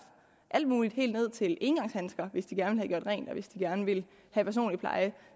alt muligt helt ned til engangshandsker hvis de gerne vil rent og hvis de gerne vil have personlig pleje